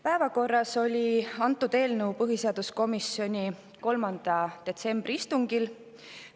Päevakorras oli antud eelnõu põhiseaduskomisjoni 3. detsembri istungil.